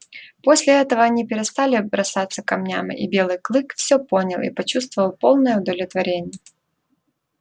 после этого они перестали бросаться камнями и белый клык все понял и почувствовал полное удовлетворение